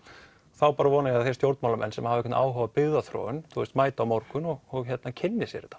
þá vona ég að þeir stjórnmálamenn sem hafa einhvern áhuga á byggðarþróun mæti á morgun og kynni sér þetta